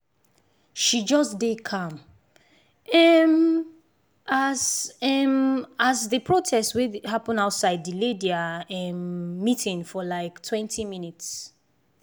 she just dey calm um as um as the protest wey happen outside delay their um meeting for liketwentyminutes